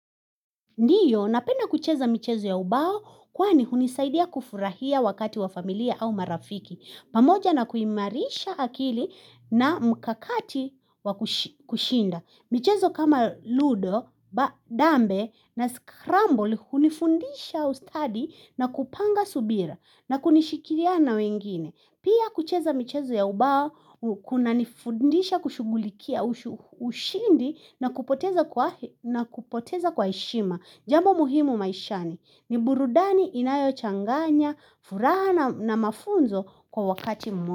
Ndiyo, napenda kucheza michezo ya ubao, kwani hunisaidia kufurahia wakati wa familia au marafiki. Pamoja na kuimarisha akili na mkakati wa kushinda. Michezo kama ludo, dambe na scramble, hunifundisha ustadi na kupanga subira na kunishikiria na wengine. Pia kucheza michezo ya ubao, kuna nifundisha kushugulikia ushindi na kupoteza kwa heshima. Jambo muhimu maishani, ni burudani inayo changanya, furana na mafunzo kwa wakati mwaka.